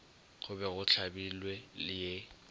go be go hlabilwe ye